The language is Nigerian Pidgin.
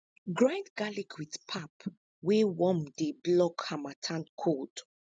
grind garlic with pap wey warm dey block harmattan cold